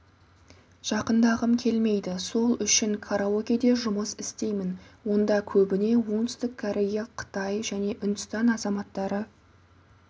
жақындағым келмейді сол үшін караокеде жұмыс істеймін онда көбіне оңтүстік корея қытай және үндістан азаматтары